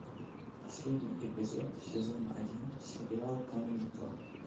последний эпизод сезон один сериал камеди клаб